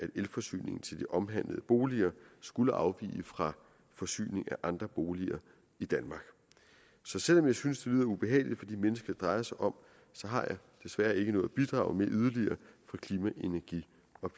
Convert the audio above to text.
elforsyningen til de omhandlede boliger skulle afvige fra forsyning af andre boliger i danmark så selv om jeg synes det lyder ubehageligt for de mennesker det drejer sig om har jeg desværre ikke noget yderligere at bidrage med fra klima energi